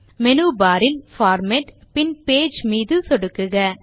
menu bar இல் format பின் page மீது சொடுக்குக